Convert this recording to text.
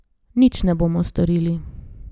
Nič ne bomo storili.